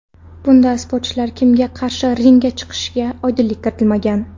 Bunda sportchilar kimga qarshi ringga chiqishiga oydinlik kiritilmagan.